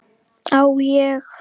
Á ég?